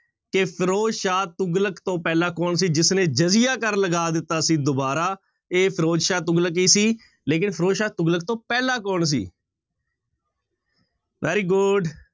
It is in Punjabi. ਕਿ ਫ਼ਿਰੋਜ਼ਸ਼ਾਹ ਤੁਗਲਕ ਤੋਂ ਪਹਿਲਾਂ ਕੌਣ ਸੀ ਜਿਸਨੇ ਜ਼ਰੀਆ ਕਰ ਲਗਾ ਦਿੱਤਾ ਸੀ ਦੁਬਾਰਾ, ਇਹ ਫ਼ਿਰੋਜ਼ਸ਼ਾਹ ਤੁਗਲਕ ਹੀ ਸੀ ਲੇਕਿੰਨ ਫ਼ਿਰੋਜ਼ਸ਼ਾਹ ਤੁਗਲਕ ਤੋਂ ਪਹਿਲਾਂ ਕੌਣ ਸੀ very good